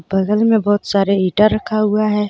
बगल में बहुत सारे ईटा रखा हुआ है.